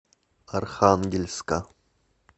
архангельска